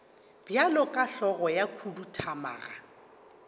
bjalo ka hlogo ya khuduthamaga